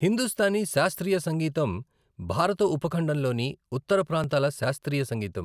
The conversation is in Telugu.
హిందుస్తానీ శాస్త్రీయ సంగీతం భారత ఉపఖండంలోని ఉత్తర ప్రాంతాల శాస్త్రీయ సంగీతం.